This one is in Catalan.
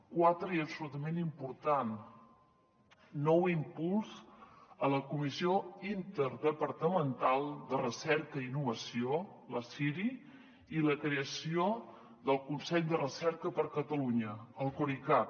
quatre i absolutament important nou impuls a la comissió interdepartamental de recerca i innovació la ciri i la creació del consell de recerca de catalunya el corecat